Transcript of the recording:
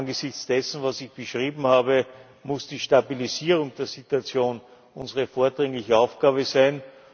Angesichts dessen, was ich beschrieben habe, muss die Stabilisierung der Situation unsere vordringliche Aufgabe sein.